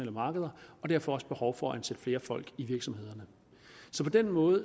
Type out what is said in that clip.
markeder og derfor også behov for at ansætte flere folk i virksomhederne så på den måde